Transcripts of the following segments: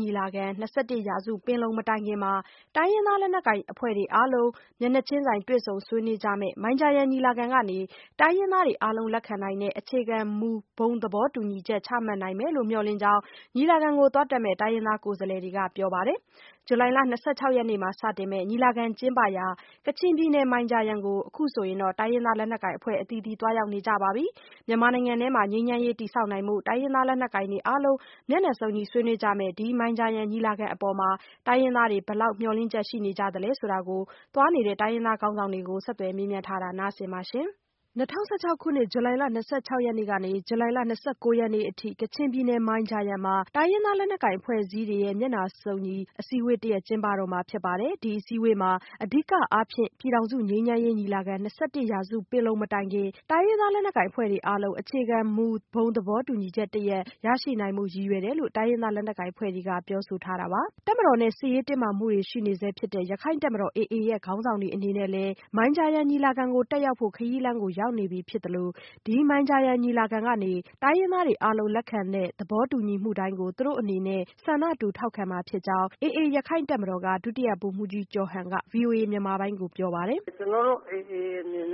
ညီလာခံ ၂၁ ရာစုပင်လုံ မတိုင်ခင် တိုင်းရင်းသား လက်နက်ကိုင်အဖွဲ့တွေအားလုံး မျက်နှာချင်းဆိုင် တွေ့ဆုံဆွေးနွေးကြမယ့် မိုင်ဂျာယန်ညီလာခံကနေ တိုင်းရင်းသားတွေအားလုံး လက်ခံနိုင်တဲ့ အခြေခံမူ ဘုံသဘောတူညီချက် ချမှတ်နိုင်မယ်လို့ မျှော်လင့်တဲ့အကြောင်း ညီလာခံတက်မယ့် တိုင်းရင်းသား ကိုယ်စားလှယ်တွေက ပြောကြပါတယ်။ ဇူလိုင်လ ၂၆ ရက်နေ့မှာ စတင်မယ့် ညီလာခံကျင်းပရာ ကချင်ပြည်နယ် မိုင်ဂျာယန်ကို အခုဆိုရင် တိုင်းရင်းသား လက်နက်ကိုင်အဖွဲ့အသီးသီး သွားရောက်နေကြပါပြီ။ မြန်မာနိုင်ငံတွင်း ငြိမ်းချမ်းရေး တည်ဆောက်နိုင်ဖို့ လက်နက်ကိုင်တွေအားလုံး မျက်နှာစုံညီ ဆွေးနွေးကြ မယ့် ဒီ မိုင်ဂျာယန်ညီလာခံအပေါ် တိုင်းရင်းသားတွေ ဘယ်လောက် မျှော်လင့်ချက်နေကြသလဲဆိုတာကို ဆက်သွယ်မေးမြန်းထားတဲ့ မဆုမွန်က ဆက်ပြောပြပါမယ်။ ၂၀၁၆ ခုနှစ် ဇူလိုင်လ ၂၆ ရက်နေ့ကနေ ဇူလိုင်လ ၂၉ ရက်နေ့အထိ ကချင်ပြည်နယ် မိုင်ဂျာယန်မှာ တိုင်းရင်းသားလက်နက်ကိုင် အဖွဲ့အစည်းတွေရဲ့ မျက်နှာစုံညီ အစည်းအဝေးတရပ် ကျင်းပတော့မှာဖြစ်ပါတယ်။ ဒီအစည်းအဝေးမှာ အဓိကအားဖြင့် ပြည်ထောင်စု ငြိမ်းချမ်းရေး ညီလာခံ၂၁ ရာစုပင်လုံ မတိုင်ခင် တိုင်းရင်းသား လက်နက်ကိုင်အဖွဲ့တွေအားလုံး အခြေခံမူ ဘုံသဘောတူညီချက် တရပ် ရရှိနိုင်ဖို့ရည်ရွယ်တယ်လို့ တိုင်းရင်းသား လက်နက်ကိုင် အဖွဲ့တွေက ပြောဆိုထားတာပါ။ တပ်မတော်နဲ့ စစ်ရေးတင်းမာမှုတွေရှိနေဆဲဖြစ်တဲ့ ရခိုင့်တပ်မတော် AA ရဲ့ ခေါင်းဆောင်တွေအနေနဲ့လည်း မိုင်ဂျာယန်ညီလာခံကို တက်ရောက်ဖို့ ခရီးလမ်းကို ရောက်နေပြီဖြစ်သလို ဒီ မိုင်ဂျာယန်ညီလာခံကနေ တိုင်းရင်းသားတွေ အားလုံးလက်ခံတဲ့ သဘော တူညီမှုတိုင်းကို သူတို့အနေနဲ့လည်း ဆန္ဒတူထောက်ခံမှာဖြစ်ကြောင်း AA ရခိုင်တပ်မတော်က ဒုတိယဗိုလ်မှူးကြီးကျော်ဟန်က ဗွီအိုအေမြန်မာပိုင်းကိုပြောပါတယ်။ “ကျနော်တို့ AA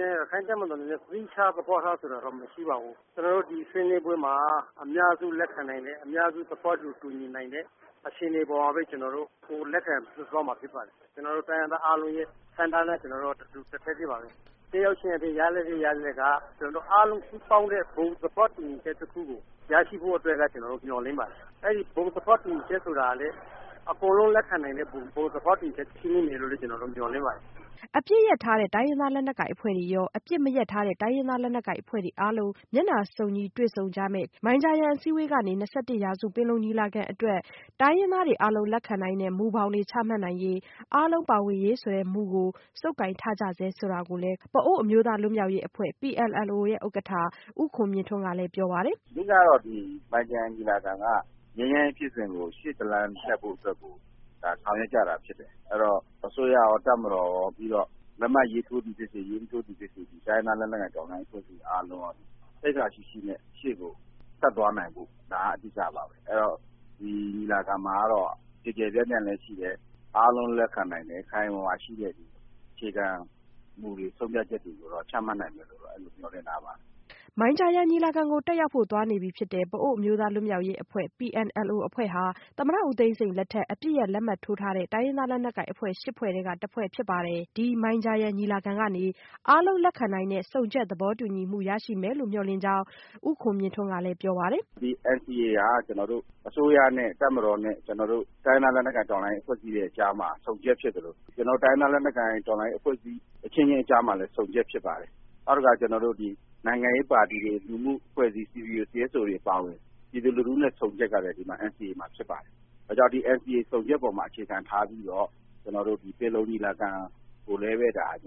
ရခိုင်တပ်မတော်အနေနဲ့က သီးခြားသဘောထားဆိုတာတော့မရှိပါဘူး။ ကျနော်တို့ ဒီဆွေးနွေးပွဲမှာ အများစုလက်ခံနိုင်တဲ့ သဘောတူနိုင်တဲ့အခြေအနေပေါ်မှာပဲ ကျနော်တို့ လက်ခံသွားမှာဖြစ်ပါတယ်။ ကျနော်တို့တိုင်းရင်းသားအားလုံးရဲ့ ဆန္ဒနဲ့ ကျနော်တို့က တထပ်တည်းပါပဲ။ အားလုံးစုပေါင်းတဲ့ဘုံသဘောတူညီချက်တခုကို ရရှိဖို့အတွက်က ကျနော်တို့မျှော်လင့်ပါတယ်။ အဲဒီ ဘုံသဘောတူညီချက်ဆိုတာလေ အကုန်လုံးလက်ခံနိုင်တဲ့ ဘုံသဘောတူညီချက်ဖြစ်ဖို့ ကျနော်တို့မျှော်လင့်ပါတယ်။” အပစ်ရပ်ထားတဲ့ တိုင်းရင်းသားလက်နက်ကိုင်အဖွဲ့တွေရော အပစ်မရပ်ထားတဲ့ တိုင်းရင်းသားလက်နက်ကိုင်အဖွဲ့တွေ အားလုံး မျက်နှာစုံညီ တွေ့ဆုံကြမယ့် ဒီမိုင်ဂျာယန်အစည်းအဝေးကနေ၂၁ရာစုပင်လုံညီလာခံအတွက် တိုင်းရင်းသားတွေအားလုံး လက်ခံနိုင်တဲ့မူဘောင်တွေ ချမှတ်နိုင်ရေး အားလုံး ပါဝင်ရေးဆိုတဲ့မှုကို ဆုပ်ကိုင်ထားကြဆဲဆိုတာကိုလည်း ပအို့ဝ်အမျိုးသားလွတ်မြောက်ရေးအဖွဲ့ PNLO ဥက္ကဋ္ဌ ဦးခွန်မြင့်ထွန်းကလည်း အခုလိုပြောပါတယ်။ “အဓိကတော့ မိုင်ဂျာယန်ညီလာခံက ငြိမ်းချမ်းရေးဖြစ်စဉ်ကို ရှေ့တလှမ်းဆက်ဖို့အတွက်ကို ဆောင်ရွက်ကြတာဖြစ်တယ်။ အဲဒီတော့ အစိုးရကော၊ တပ်မတော်ကော ပြီးတော့ လက်မှတ်ရေးထိုးသည်ဖြစ်စေ မရေးထိုးသည်ဖြစ်စေ တိုင်းရင်းသားလက်နက်ကိုင်တော်လှန်ရေးအဖွဲ့တွေအားလုံးက သိက္ခာရှိရှိနဲ့ ရှေ့ကိုဆက်သွားနိုင်ဖို့ ဒါအဓိကပါပဲ။ အဲဒီတော့ ညီလာခံမှာကတော့ ကျယ်ကျယ်ပြန့်ပြန့်လည်းရှိတယ် အားလုံးလက်ခံနိုင်တဲ့ ခိုင်ခိုင်မာမာရှိတဲ့အခြေခံမူတွေဆုံးဖြတ်ချက်တွေကို ချမှတ်နိုင်မယ်လို့တော့ မျှော်လင့်ထားပါတယ်။” မိုင်ဂျာယန်ညီလာခံကို တက်ရောက်ဖို့ သွားနေပြီဖြစ်တဲ့ ပအို့ဝ်အမျိုးသားလွတ်မြောက်ရေးအဖွဲ့ PNLO အဖွဲ့ဟာ သမ္မတဦးသိန်းစိန် လက်ထက် အပစ်ရပ ်လက်မှတ်ထိုး ထားတဲ့ တိုင်းရင်းသားလက်နက်ကိုင်အဖွဲ့ ၈ ဖွဲ့ထဲက တဖွဲ့ဖြစ်ပါတယ်။ ၂၁ ရာစု ပင်လုံညီလာခံအတွက် ဒီမိုင်ဂျာယန်အစည်းအဝေးကနေ အားလုံးလက်ခံနိုင်တဲ့ ဆုံချက်သဘောတူညီမှု ရရှိမယ်လို့ မျှော်လင့် ကြောင်း ဦးခွန်မြင့်ထွန်းက ပြောပါတယ်။ “ဒီ NCA ဟာ အစိုးရနဲ့ တပ်မတော်တို့ ကျနော်တို့ တိုင်းရင်းသားလက်နက်ကိုင် အဖွဲ့အစည်းတွေကြားမှာ ဆုံချက်ဖြစ်သလို၊ ကျနော်တို့ တိုင်းရင်းသားလက်နက်ကိုင် တော်လှန်ရေး အဖွဲ့အစည်းတွေအချင်းချင်းကြားမှာလည်း ဆုံချက်ဖြစ်ပါတယ်။ နောက်တခါ နိုင်ငံရေးပါတီတွေ လူမှုအဖွဲ့အစည်းတွေအပါအဝင် ပြည်သူလူထုနဲ့ ဆုံချက်ကလည်း ဒီ NCA မှာ ဖြစ်ပါတယ်။ ဒါကြောင့် ဒီ NCA ဆုံချက်အပေါ်မှာ အခြေခံထားပြီးတော့ ကျနော်တို့ ၂၁ ရာစုပင်လုံညီလာခံကိုလည်းပဲ ကျနော်တို့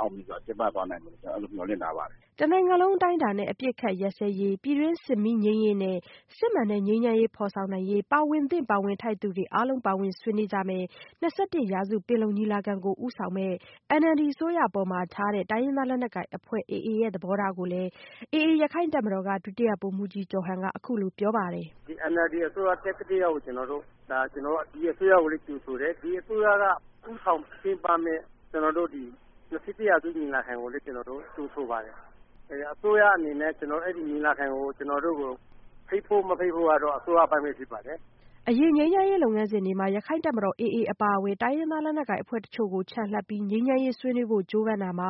အောင်မြင်စွာကျင်းပသွားနိုင်မယ်လို့ ကျနော်မျှော်လင့်ထားပါတယ်။” တနိုင်ငံလုံးအတိုင်းအတာနဲ့ အပစ်ခတ်ရပ်စဲရေး၊ ပြည်တွင်းစစ်မီးငြိမ်းရေးနဲ့ စစ်မှန်တဲ့ငြိမ်းချမ်းရေးဖော်ဆောင်နိုင်ရေး ပါဝင်သင့် ပါဝင်ထိုက်သူတွေအားလုံး ပါဝင်ဆွေးနွေးကြမယ့် ၂၁ ရာစုပင်လုံညီလာခံကို ဦးဆောင်မယ့် NLD အစိုးရအပေါ် ထားတဲ့ တိုင်းရင်းသားလက်နက်ကိုင်အဖွဲ့ AA ရဲ့ သဘောထားကိုလည်း AA ရခိုင်တပ်မတော်က ဒုတိယဗိုလ်မှူးကြီး ကျော်ဟန်က အခုလိုဆက်ပြောပါတယ်။ “ဒီ NLD အစိုးရ တက်ကတည်းကိုက ကျနော်တို့ ဒီအစိုးရကိုလည်း ကြိုဆိုတယ်။ ဒီအစိုးရက ဦးဆောင်ကျင်းပမယ့် ၂၁ ရာစု ညီလာခံကိုလည်း ကျနော်တို့ ကြိုဆိုပါတယ်။ အစိုးရအနေနဲ့ အဲဒီ ညီလာခံကို ကျနော်တို့ကို ဖိတ်ဖို့မဖိတ်ဖို့ဆိုတာကတော့ အစိုးရအပိုင်းပဲဖြစ်ပါတယ်။” အရင်ငြိမ်းချမ်းရေးလုပ်ငန်းစဉ်တွေမှာ ရခိုင်တပ် AA အပါအဝင် တိုင်းရင်းသားလက်နက်ကိုင်အဖွဲ့အချို့ကို ချန်လှပ်ပြီး ငြိမ်းချမ်း ရေးဆွေးနွေးဖို့ကြိုးပမ်းတာမှာ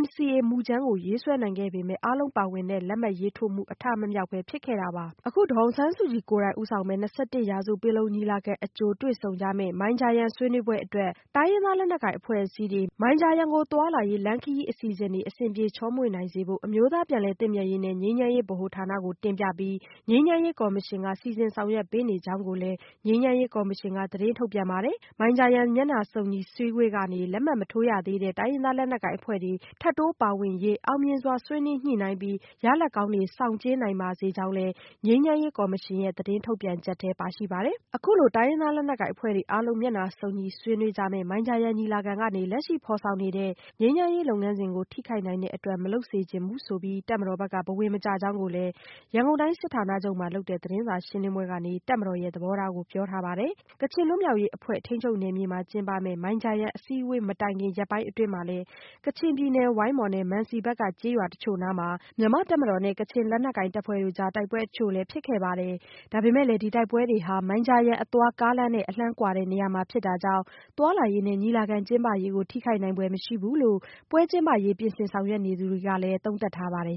NCA မူကြမ်းရေးဆွဲနိုင်ခဲ့ပေမဲ့ အားလုံးပါဝင်တဲ့လက်မှတ်ရေးထိုးမှု အထမမြောက်ပဲ ဖြစ်ခဲ့တာပါ။ အခု ဒေါ်အောင်ဆန်းစုကြည် ကိုယ်တိုင် ဦးဆောင်မယ့် ၂၁ ရာစု ပင်လုံညီလာခံအကြို တွေ့ဆုံကြမယ့် မိုင်ဂျာယန်ဆွေးနွေးပွဲအတွက် တိုင်းရင်းသား လက်နက်ကိုင်အဖွဲ့အစည်းတွေ မိုင်ဂျာယန်ကို သွားလာရေးလမ်းခရီးအစီအစဉ်တွေ အဆင်ပြေချောမွေ့နိုင်ဖို့ အမျိုးသားပြန်လည်သင့်မြတ်ရေးနဲ့ ငြိမ်းချမ်းရေးဗဟိုဌာနကိုတင်ပြပြီး ငြိမ်းချမ်းရေးကော်မရှင်က စီစဉ်ဆောင်ရွက်ပေးနေ ကြောင်းကိုလည်း ငြိမ်းချမ်းရေးကော်မရှင်က သတင်းထုတ်ပြန်ထားပါတယ်။ မိုင်ဂျာယန်မျက်နှာစုံညီအစည်းအဝေးကနေ လက်မှတ်မထိုးရသေးတဲ့ တိုင်းရင်းသားလက်နက်ကိုင်အဖွဲ့တွေ ထပ်တိုးပါဝင်ရေး အောင်မြင်စွာဆွေးနွေးညှိနှိုင်းပြီး ၂၁ ရာစုပင်လုံညီလာခံကို အားလုံးစုံညီ တက်ရောက်နိုင်မယ့် ရလဒ်ကောင်းတွေ ဆောင်ကြဉ်းနိုင်ပါစေကြောင်းလည်း ငြိမ်းချမ်း ရေးကော်မရှင်ရဲ့ သတင်းထုတ်ပြန်ချက်ထဲ ပါရှိပါတယ်။ အခုလို တိုင်းရင်းသားလက်နက်ကိုင်အဖွဲ့တွေ အားလုံး မျက်နှာစုံညီဆွေးနွေးကြမယ့် မိုင်ဂျာယန်ညီလာခံကနေ လက်ရှိ ဖော်ဆောင်နေတဲ့ ငြိမ်းချမ်းရေးလုပ်ငန်းစဉ်ကို ထိခိုက်နိုင်တဲ့အတွက် မလုပ်စေချင်ဘူးဆိုပြီး တပ်မတော်ဘက်က ဘဝင်မကျ ကြောင်းကိုလည်း ရန်ကုန်တိုင်းစစ်ဌာနချုပ်မှာ လုပ်တဲ့ သတင်းစာရှင်းလင်းပွဲကနေ တပ်မတော်ရဲ့ သဘောထားကို ပြောထားပါတယ်။ ကချင်လွတ်မြောက်ရေးအဖွဲ့ ထိန်းချုပ်နယ်မြေမှာ ကျင်းပမယ့် မိုင်ဂျာယန်အစည်းအဝေး မတိုင်ခင် ရက်ပိုင်းအတွင်းမှာလည်း ကချင်ပြည်နယ် ဝိုင်းမော်နဲ့ မန်စီဘက်က ကျေးရွာတချို့နားမှာ မြန်မာတပ်မတော်နဲ့ ကချင်လက်နက်ကိုင်တပ်ဖွဲ့တို့ကြား တိုက်ပွဲ အချို့လည်း ဖြစ်ခဲ့ပါတယ်။ ဒါပေမဲ့လည်း ဒီတိုက်ပွဲတွေဟာ မိုင်ဂျာယန်အသွား ကားလမ်းနဲ့ အလှမ်းကွာတဲ့နေရာမှာ ဖြစ်တာ ကြောင့် သွားလာရေးနဲ့ ညီလာခံကျင်းပရေးကို ထိခိုက်နိုင်ဖွယ်မရှိဘူးလို့ ပွဲကျင်းပရေးအတွက် ပြင်ဆင်ဆောင်ရွက်နေသူတွေက သုံးသပ်ထားပါတယ်